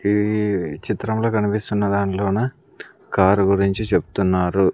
ఈ చిత్రంలో కనిపిస్తున్న దాంట్లో నా కారు గురించి చెప్తున్నారు.